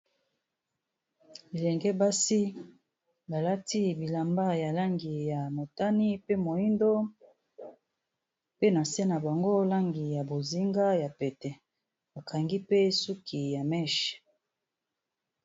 Bilenge basi balati bilamba ya langi ya motane pe moyindo pe na se na bango langi ya bozinga ya pete bakangi pe suki ya meche.